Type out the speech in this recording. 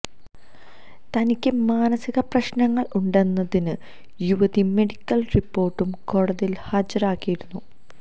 തനിക്ക് മാനസിക പ്രശ്നങ്ങള് ഉണ്ടെന്നതിന് യുവതി മെഡിക്കല് റിപ്പോര്ട്ടും കോടതിയില് ഹാജരാക്കിയിരുന്നു